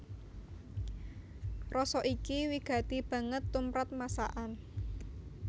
Rasa iki wigati banget tumrap masakan